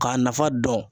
K'a nafa dɔn